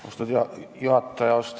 Austatud juhataja!